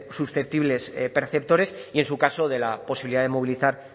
susceptibles perceptores y en su caso de la posibilidad de movilizar